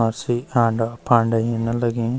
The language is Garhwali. हासी आंडा फांडा हिरणा लगीं।